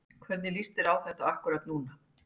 Hvernig lítur þetta út akkúrat núna?